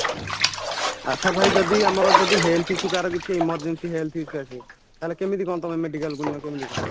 ଆଛା ଭାଇ ଯଦି ଆମର ଯଦି health issue କାହାର ଯଦି emergency health issue ଆସେ ତାହାଲେ ତମେ କେମିତି କ'ଣ medicalକୁ ନିଅ କେମିତି କ'ଣ